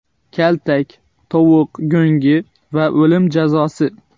Kaltak, tovuq go‘ngi va o‘lim jazosi.